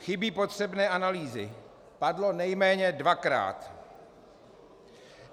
Chybí potřebné analýzy - padlo nejméně dvakrát.